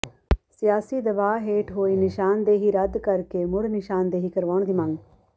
ਸਿਆਸੀ ਦਬਾਅ ਹੇਠ ਹੋਈ ਨਿਸ਼ਾਨਦੇਹੀ ਰੱਦ ਕਰਕੇ ਮੁੜ ਨਿਸ਼ਾਨਦੇਹੀ ਕਰਵਾਉਣ ਦੀ ਮੰਗ